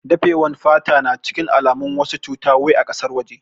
Dafe wan fata na cikin alamun wasu cuta wai a kasar waje